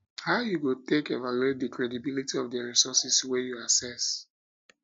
how you go take evaluate di credibility of di resources wey you access